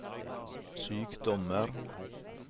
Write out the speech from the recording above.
sykdommer